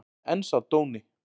En sá dóni!